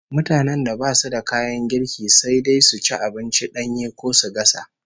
Mutanen da basu da kayan girki, sai dai su ci abinci danye ko su gasa